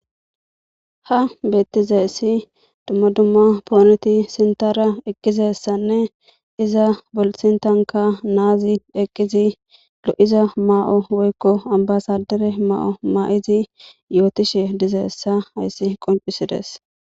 ha beettize si dumma dumma pooneti sintara eqqizessanne iza bolsintanka naazi eqqizi lo7iza maa7o woykko ambasadere maa7o maa7izi yootishe dizeessa hayssi qoncisides